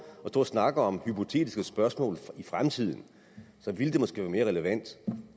og snakke om hypotetiske spørgsmål om fremtiden ville det måske være mere relevant